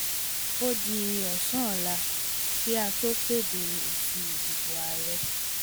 ó di ọ̀sán ọ̀la kí a tó kéde èsì ìdìbò àárẹ̀